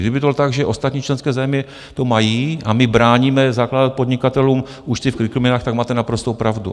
Kdyby to bylo tak, že ostatní členské země to mají a my bráníme zakládat podnikatelům účty v kryptoměnách, tak máte naprostou pravdu.